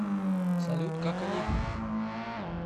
салют как они